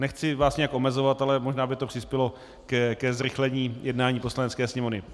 Nechci vás nějak omezovat, ale možná by to přispělo ke zrychlení jednání Poslanecké sněmovny.